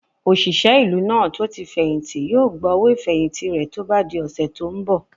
Òṣìṣẹ́ ìlú náà tó tí fẹ̀hìntì yóò gba owó ìfẹ̀hìntì rẹ̀ tó bá di ọ̀sẹ̀ tó n bọ̀